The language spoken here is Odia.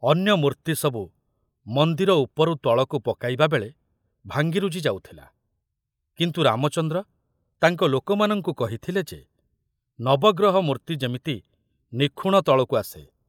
ଅନ୍ୟ ମୂର୍ତ୍ତି ସବୁ ମନ୍ଦିର ଉପରୁ ତଳକୁ ପକାଇବାବେଳେ ଭାଙ୍ଗିରୁଜି ଯାଉଥିଲା, କିନ୍ତୁ ରାମଚନ୍ଦ୍ର ତାଙ୍କ ଲୋକମାନଙ୍କୁ କହିଥିଲେ ଯେ ନବଗ୍ରହ ମୂର୍ତ୍ତି ଯେମିତି ନିଖୁଣ ତଳକୁ ଆସେ।